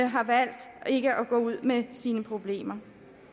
har valgt ikke at gå ud med sine problemer